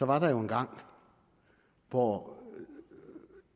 var jo engang hvor